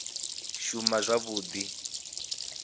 shuma zwavhui u ya nga